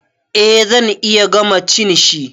Eh zan iya gama cin shi.